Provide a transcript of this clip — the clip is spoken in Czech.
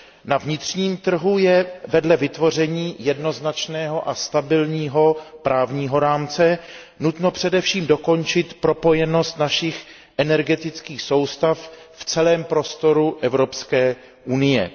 Na vnitřním trhu je vedle vytvoření jednoznačného a stabilního právního rámce nutno především dokončit propojenost našich energetických soustav v celém prostoru Evropské unie.